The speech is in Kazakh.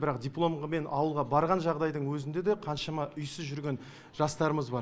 бірақ дипломғымен ауылға барған жағыдайдың өзінде де қаншама үйсіз жүрген жастарымыз бар